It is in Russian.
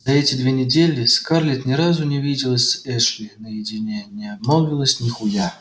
за эти две недели скарлетт ни разу не виделась с эшли наедине не обмолвилась нихуя